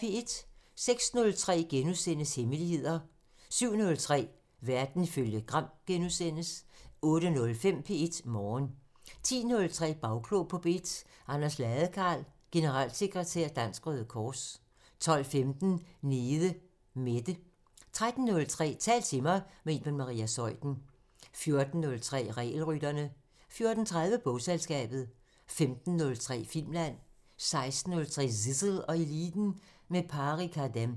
06:03: Hemmeligheder * 07:03: Verden ifølge Gram * 08:05: P1 Morgen 10:03: Bagklog på P1: Anders Ladekarl, generalsekretær Dansk Røde Kors 12:15: Nede Mette 13:03: Tal til mig – med Iben Maria Zeuthen 14:03: Regelrytterne 14:30: Bogselskabet 15:03: Filmland 16:03: Zissel og Eliten: Med Pari Khadem